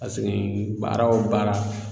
baara o baara